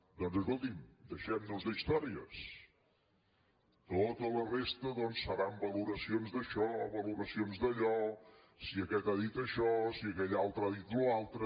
doncs escolti’m deixem nos d’històries tota la resta doncs seran valoracions d’això valoracions d’allò si aquest ha dit això si aquell altre ha dit allò altre